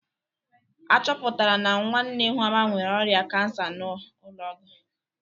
Achoputara na nwanne Ihuoma nwere ọrịa kansa n'ụlọọgwụ.